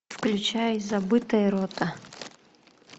включай забытая рота